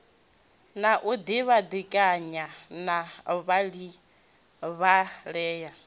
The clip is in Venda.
a u dibadekanya na vhadivhalea